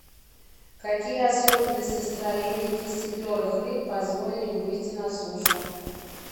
какие особенности строения кистеперых рыб позволили им выйти на сушу